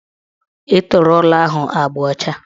Etere ụlọ ahụ agba ọcha